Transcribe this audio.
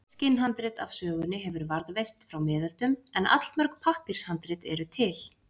eitt skinnhandrit af sögunni hefur varðveist frá miðöldum en allmörg pappírshandrit eru til